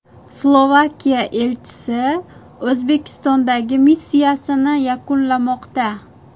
Slovakiya elchisi O‘zbekistondagi missiyasini yakunlamoqda.